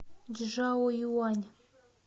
чжаоюань